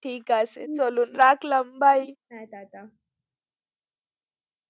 ঠিক আছে চলো রাখলাম, byee, tata.